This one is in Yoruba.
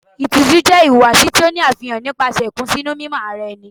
Ìtìjú jẹ́ ìwà ìhùwàsí tí ó ní àfihàn nípasẹ̀ ìkùnsínú mímọ ara ẹni.